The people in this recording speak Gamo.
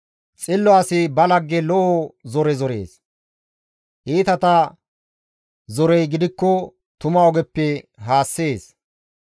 Xillo asi ba lagge lo7o zore zorees; iitata zorey gidikko tuma ogeppe haassees.